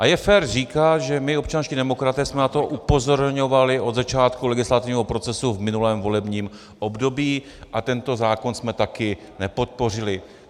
A je fér říkat, že my občanští demokraté jsme na to upozorňovali od začátku legislativního procesu v minulém volebním období a tento zákon jsme také nepodpořili.